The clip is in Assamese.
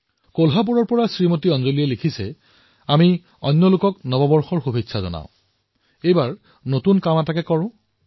কোলহাপুৰৰ পৰা অঞ্জলীজীয়ে লিখিছে যে নতুন বৰ্ষত আমি আনক শুভকামনা জনাও অভিনন্দন জনাও এইবাৰ আমি এটা নতুন কাম কৰিব পাৰো